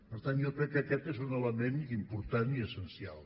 per tant jo crec que aquest és un element important i essencial